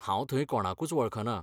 हांव थंय कोणाकूच वळखना.